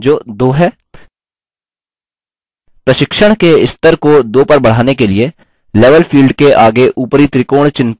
प्रशिक्षण के स्तर को 2 पर बढ़ाने के लिए level field के आगे ऊपरी त्रिकोण चिह्न पर click करें